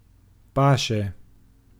Paše.